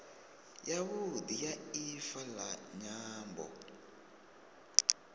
yavhudi ya ifa la nyambo